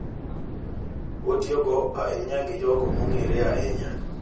Otiyogo ahinya gi jogo ma ong’ere ahinya.